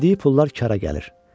Verdiyi pullar işə yarayır.